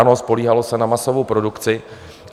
Ano, spoléhalo se na masovou produkci.